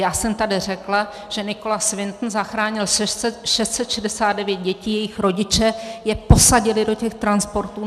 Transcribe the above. Já jsem tady řekla, že Nicholas Winton zachránil 669 dětí, jejich rodiče je posadili do těch transportů.